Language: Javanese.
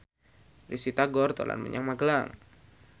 Risty Tagor dolan menyang Magelang